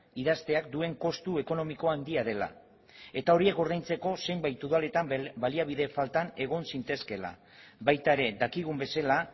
idazteak duen kostu ekonomikoa handia dela eta horiek ordaintzeko zenbait udaletan baliabide faltan egon zitezkeela baita ere dakigun bezala